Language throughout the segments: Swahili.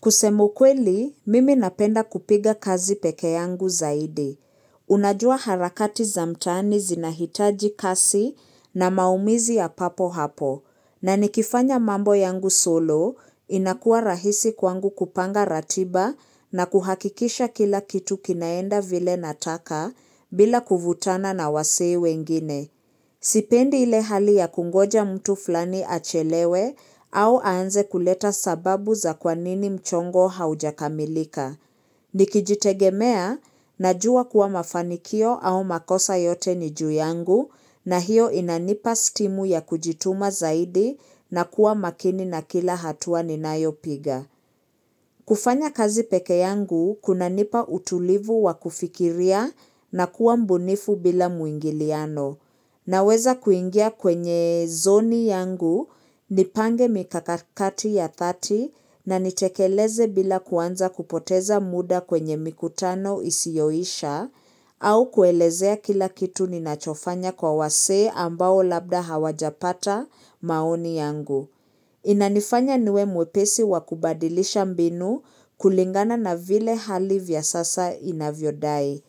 Kusema ukweli, mimi napenda kupiga kazi pekee yangu zaidi. Unajua harakati za mtaani zinahitaji kasi na maamuzi ya papo hapo. Na nikifanya mambo yangu solo, inakua rahisi kwangu kupanga ratiba na kuhakikisha kila kitu kinaenda vile nataka bila kuvutana na wasee wengine. Sipendi ile hali ya kungoja mtu fulani achelewe au aanze kuleta sababu za kwa nini mchongo haujakamilika. Nikijitegemea najua kuwa mafanikio au makosa yote ni juu yangu na hiyo inanipa stimu ya kujituma zaidi na kuwa makini na kila hatua ninayo piga. Kufanya kazi peke yangu, kunanipa utulivu wa kufikiria na kuwa mbunifu bila mwingiliano. Naweza kuingia kwenye zoni yangu, nipange mikakati ya dhati na nitekeleze bila kuanza kupoteza muda kwenye mikutano isioisha, au kuelezea kila kitu ninachofanya kwa wasee ambao labda hawajapata maoni yangu. Inanifanya niwe mwepesi wa kubadilisha mbinu kulingana na vile hali vya sasa inavyodai.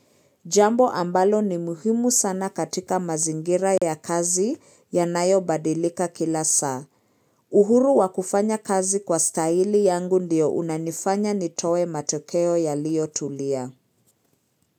Jambo ambalo ni muhimu sana katika mazingira ya kazi yanayobadilika kila saa. Uhuru wakufanya kazi kwa staili yangu ndio unanifanya nitoe matokeo yalio tulia.